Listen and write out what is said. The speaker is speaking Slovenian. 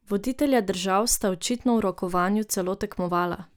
Voditelja držav sta očitno v rokovanju celo tekmovala.